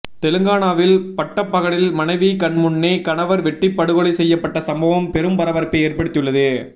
தெலங்கானாவில் பட்டப்பகலில் மனைவி கண்முன்னே கணவர் வெட்டி படுகொலை செய்யப்பட்ட சம்பவம் பெரும் பரபரப்பபை ஏற்படுத்தியுள்ளது